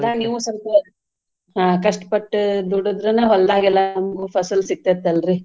ನೀವು ಸ್ವಲ್ಪ್ ಕಷ್ಟಪಟ್ಟ್ ದುಡದ್ರನ ಹೊಲ್ದಾಗೆಲ್ಲಾ ಫಸಲ್ ಸಿಗ್ತೇತಲ್ರಿ.